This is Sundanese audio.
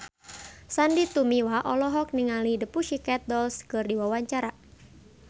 Sandy Tumiwa olohok ningali The Pussycat Dolls keur diwawancara